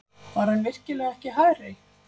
Var hann virkilega ekki hærri?